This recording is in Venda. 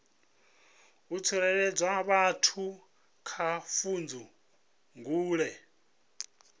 u tsireledza vhathu kha pfudzungule